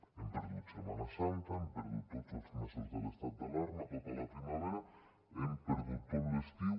hem perdut setmana santa hem perdut tots els mesos de l’estat d’alarma tota la primavera hem perdut tot l’estiu